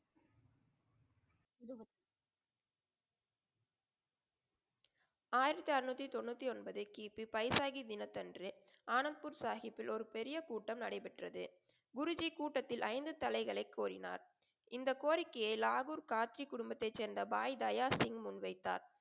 ஆயிரத்தி அறநூத்தி தொண்ணூத்தி ஒன்பது கி. பி பைசாகி தினத்தன்று ஆனந்த்பூர் சாஹிப்பில் ஒரு பெரிய கூட்டம் நடைபெற்றது. குருஜி கூட்டத்தில் ஐந்து தலைகளை கோரினார். இந்தக் கோரிக்கையை லாகூர் கார்கி குடும்பத்தைச் சேர்ந்த பாய் தயா சிங் முன்வைத்தார்.